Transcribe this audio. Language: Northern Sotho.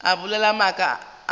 o bolela maaka a matala